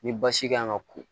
Ni basi kan ka ko